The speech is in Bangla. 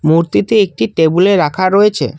মূর্তিটি একটি টেবিলে রাখা রয়েছে।